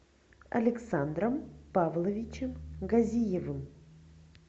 александром павловичем газиевым